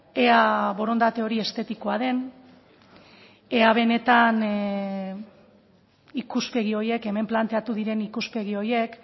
ea borondate hori estetikoa den ea benetan ikuspegi horiek hemen planteatu diren ikuspegi horiek